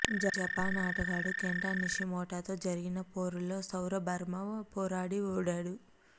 Japan ఆటగాడు కెంటా నిషిమోటోతో జరిగిన పోరులో సౌరభ్వర్మ పోరాడి ఓడాడు